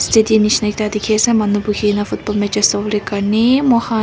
city neshina ekta dekhi ase manu boihekena football matches sabole karni mokhan.